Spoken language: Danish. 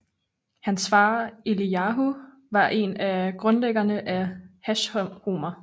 Hans far Eliyahu var en af grundlæggerne af Hashomer